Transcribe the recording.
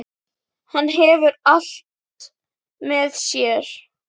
Hann hefur allt með sér.